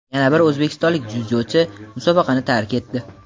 Yana bir o‘zbekistonlik dzyudochi musobaqani tark etdi.